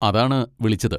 അതാണ് വിളിച്ചത്.